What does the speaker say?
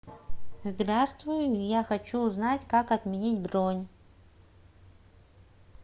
здравствуй я хочу узнать как отменить бронь